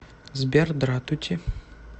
сбер дратути